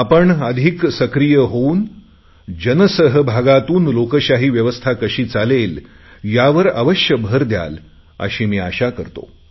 आपण अधिक सक्रीय होऊन जनसहभागातून लोकशाही व्यवस्था कशी चालेल यावर अवश्य भर द्याल अशी मी अपेक्षा करतो